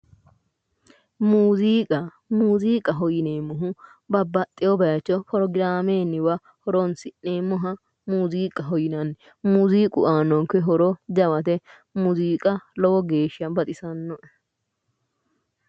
muuziiqa muuziiqaho yineemmohu babbaxxino bayicho forogiraamewa horonsi'neemmoha muuziiqaho yinanni muuziiqu aannonke horo jawate muuziiiqa lowo geeshsha baxisannoe.